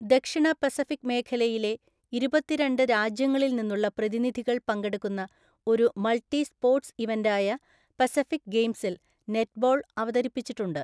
ദക്ഷിണ പസഫിക് മേഖലയിലെ ഇരുപത്തിരണ്ട് രാജ്യങ്ങളിൽ നിന്നുള്ള പ്രതിനിധികൾ പങ്കെടുക്കുന്ന ഒരു മൾട്ടി സ്പോർട്സ് ഇവന്റായ പസഫിക് ഗെയിംസിൽ നെറ്റ്ബോൾ അവതരിപ്പിച്ചിട്ടുണ്ട്.